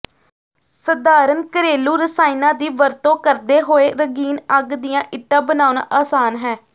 ਸਧਾਰਣ ਘਰੇਲੂ ਰਸਾਇਣਾਂ ਦੀ ਵਰਤੋਂ ਕਰਦੇ ਹੋਏ ਰੰਗੀਨ ਅੱਗ ਦੀਆਂ ਇੱਟਾਂ ਬਣਾਉਣਾ ਆਸਾਨ ਹੈ